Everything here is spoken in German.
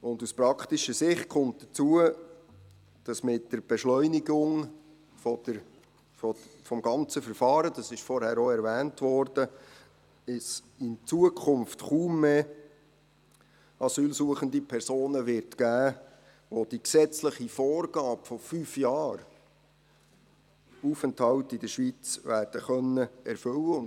Aus praktischer Sicht kommt hinzu, dass es mit der Beschleunigung des gesamten Verfahrens – dies wurde vorhin erwähnt – in Zukunft kaum mehr asylsuchende Personen geben wird, welche die gesetzliche Vorgabe von fünf Jahren Aufenthalt in der Schweiz werden erfüllen können.